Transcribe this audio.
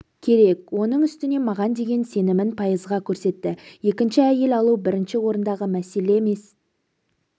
керек оның үстіне маған деген сенімін пайызға көрсетті еінші әйел алу бірінші орындағы мәселе месе